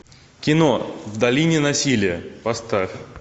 кино в долине насилия поставь